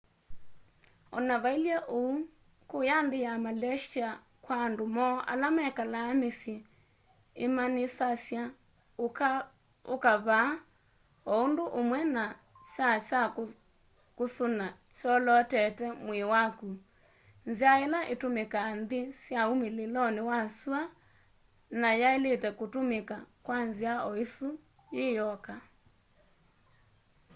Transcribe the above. o na vailye uu kũya nthĩ ya malaysĩa kwa andũ moo ala mekalaa mĩsyĩ imaanisasya ũka vaa o ũndũ ũmwe na kyaa kya kũsũna kyolootete mwĩĩ wakũ nzĩa ĩla ĩtũmĩkaa nthĩ sya ũmĩlĩlonĩ wa sũa na yaĩlĩte kũtũmĩka kwa nzĩa oĩsũ yĩ yoka